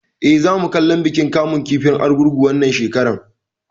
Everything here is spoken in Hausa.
Eh, za mu kallon bikin kamun kifin Argungu wannan shekarar